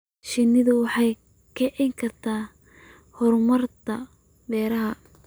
Shinnidu waxay kicin kartaa horumarinta beeraha.